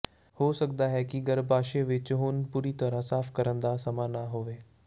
ਹੋ ਸਕਦਾ ਹੈ ਕਿ ਗਰੱਭਾਸ਼ਯ ਵਿੱਚ ਹੁਣ ਪੂਰੀ ਤਰਾਂ ਸਾਫ ਕਰਨ ਦਾ ਸਮਾਂ ਨਾ ਹੋਵੇ